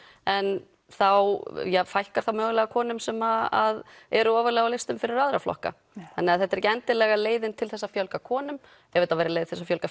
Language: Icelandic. en þá fækkar mögulega konum sem eru ofarlega á listum fyrir aðra flokka þannig þetta er ekki endilega leiðin til þess að fjölga konum ef þetta væri leið til að fjölga